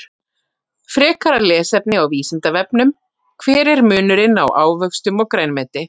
Frekara lesefni á Vísindavefnum: Hver er munurinn á ávöxtum og grænmeti?